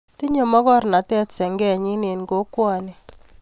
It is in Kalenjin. Tinyei mokornotee senge nyii eng kokwonik.